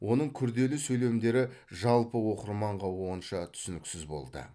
оның күрделі сөйлемдері жалпы оқырманға онша түсініксіз болды